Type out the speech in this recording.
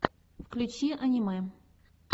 включи аниме